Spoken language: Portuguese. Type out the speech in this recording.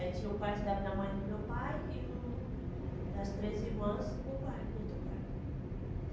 Aí tinha o quarto da minha mãe e do meu pai e o das três irmãs no quarto, no outro quarto.